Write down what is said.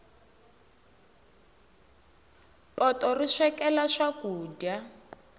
poto ri swekela swakudya